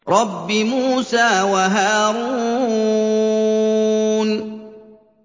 رَبِّ مُوسَىٰ وَهَارُونَ